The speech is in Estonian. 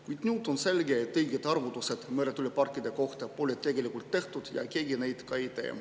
Kuid nüüd on selge, et õigeid arvutusi meretuuleparkide kohta pole tegelikult tehtud ja keegi neid ka ei tee.